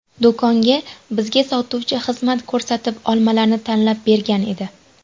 Do‘konda bizga sotuvchi xizmat ko‘rsatib, olmalarni tanlab bergan edi.